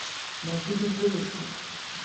найти безделушка